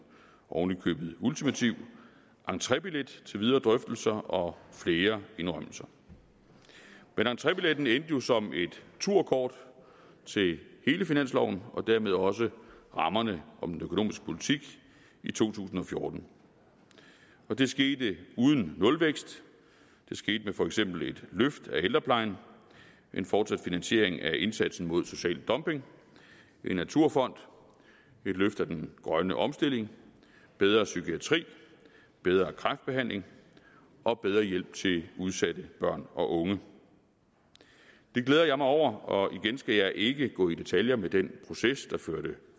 oven i købet ultimativ entrébillet til videre drøftelser og flere indrømmelser men entrébilletten endte jo som et turkort til hele finansloven og dermed også rammerne om den økonomiske politik i to tusind og fjorten det skete uden nulvækst det skete for eksempel med et løft af ældreplejen en fortsat finansiering af indsatsen mod social dumping en naturfond et løft af den grønne omstilling bedre psykiatri bedre kræftbehandling og bedre hjælp til udsatte børn og unge det glæder jeg mig over og igen skal jeg ikke gå i detaljer med den proces der førte